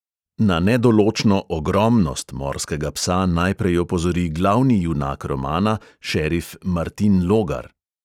Na "nedoločno ogromnost" morskega psa najprej opozori glavni junak romana, šerif martin logar.